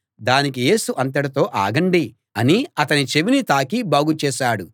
దానికి యేసు అంతటితో ఆగండి అని అతని చెవిని తాకి బాగుచేశాడు